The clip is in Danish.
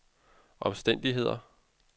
omstændigheder